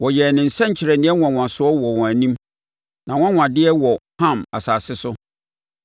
Wɔyɛɛ ne nsɛnkyerɛnneɛ nwanwasoɔ wɔ wɔn mu, nʼanwanwadeɛ wɔ Ham asase so.